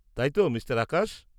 -তাই তো, মিঃ আকাশ?